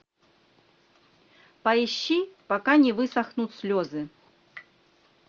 поищи пока не высохнут слезы